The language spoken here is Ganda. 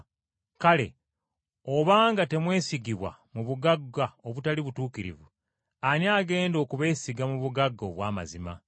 Kale obanga temwesigibwa mu bugagga obutali butuukirivu, ani agenda okubeesiga mu bugagga obw’amazima?